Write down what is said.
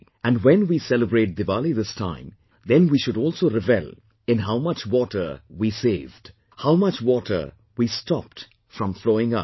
And when we celebrate Diwali this time, then we should also revel in how much water did we save; how much water we stopped from flowing out